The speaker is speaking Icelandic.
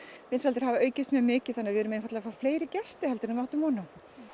vinsældir hafa aukist mjög mikið þannig við erum einfaldlega að fá fleiri gesti en við áttum von á